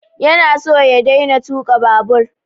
Ya na so ya daina tuƙa babur